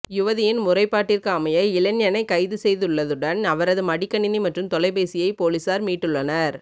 யுவதியின் முறைப்பாட்டிற்கமைய இளைஞனை கைது செய்துள்ளதுடன் அவரது மடிக்கணினி மற்றும் தொலைபேசியை பொலிஸார் மீட்டுள்ளனர்